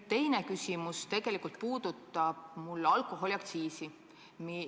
Teine küsimus puudutab alkoholiaktsiisi.